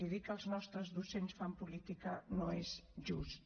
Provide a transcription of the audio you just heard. i dir que els nostres docents fan política no és just